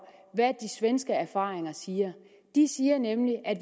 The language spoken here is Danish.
hvad de svenske erfaringer siger de siger nemlig at